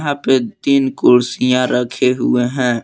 तीन कुर्सियां रखे हुए हैं।